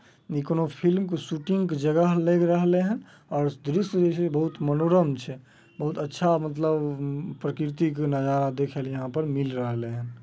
ई कोई फिल्म के शूटिंग के जगह लेग रहले हैन । और दृश्य जे छै बहुत मनोरम छै बहुत अच्छा मतलब प्रकृति के नजारा देखेले यहां पर मिल रहले हैन ।